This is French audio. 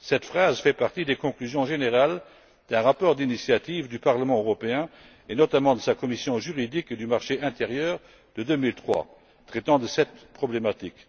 Cette phrase fait partie des conclusions générales d'un rapport d'initiative du Parlement européen et notamment de sa commission juridique et du marché intérieur de 2003 traitant de cette problématique.